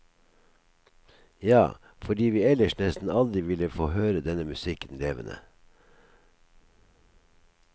Ja, fordi vi ellers nesten aldri ville få høre denne musikken levende.